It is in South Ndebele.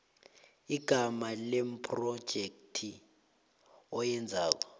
igama lephrojekhthi oyenzela